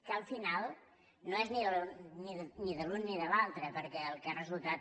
que al final no és ni de l’un ni de l’altre perquè el que han resultat